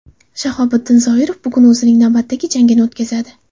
Shahobiddin Zoirov bugun o‘zining navbatdagi jangini o‘tkazadi.